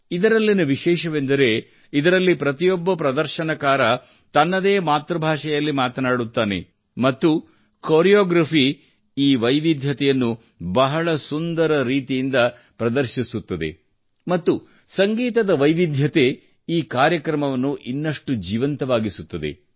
ಇದರಲ್ಲಿನ ವಿಶೇಷವೆಂದರೆ ಇದರಲ್ಲಿ ಪ್ರತಿಯೊಬ್ಬ ಪ್ರದರ್ಶನಕಾರ ತನ್ನದೇ ಮಾತೃಭಾಷೆಯಲ್ಲಿ ಮಾತನಾಡುತ್ತಾರೆ ಮತ್ತು ಕೋರಿಯೋಗ್ರಾಫಿ ಈ ವೈವಿಧ್ಯತೆಯನ್ನು ಬಹಳ ಸುಂದರ ರೀತಿಯಿಂದ ಪ್ರದರ್ಶಿಸುತ್ತದೆ ಮತ್ತು ಸಂಗೀತದ ವೈವಿಧ್ಯತೆ ಈ ಕಾರ್ಯಕ್ರಮವನ್ನು ಇನ್ನಷ್ಟು ಜೀವಂತವಾಗಿಸುತ್ತದೆ